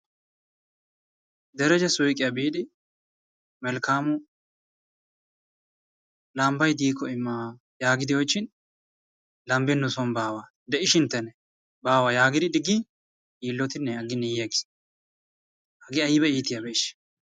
Dereje suyqiya biidi melkkaamu lambbayi diikko imma yaagidi oychchin lambbi nuson baawa de"ishinttenne baawa yaagidi diggin yiillotinne agginne yi aggis hagee ayba iitiyabeeshsha.